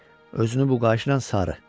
Özünü bu qayışına sarı.